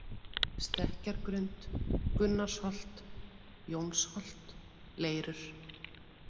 Stekkjargrund, Gunnarsholt, Jónsholt, Leirur